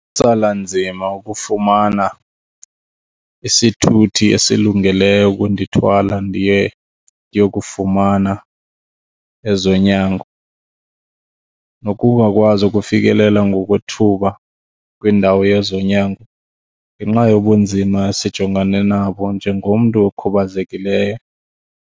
Tsala nzima ukufumana isithuthi esilungeleyo ukundithwala ndiye yokufumana ezonyango nokungakwazi ukufikelela ngokwethuba kwiindawo yezonyango ngenxa yobunzima esijongane nabo njengomntu okhubazekileyo.